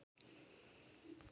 Fylgdu Jesú um allan heim